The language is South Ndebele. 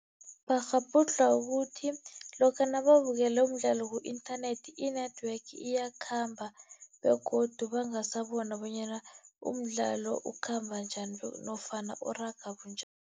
Bakghabhudlhwa kukuthi lokha nababukele umdlalo ku-inthanethi, i-network iyakhamba begodu bangasabona bonyana umdlalo ukhamba njani nofana uraga bunjani.